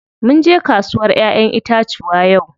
Munje kasuwar ƴaƴen itacuwa yau.